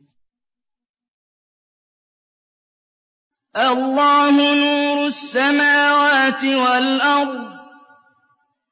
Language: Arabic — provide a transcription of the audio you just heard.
۞ اللَّهُ نُورُ السَّمَاوَاتِ وَالْأَرْضِ ۚ